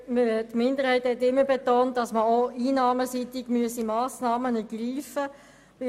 Die Minderheit hat immer betont, dass man auch einnahmenseitig Massnahmen ergreifen müsse.